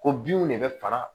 Ko binw de bɛ fara